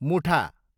मुठा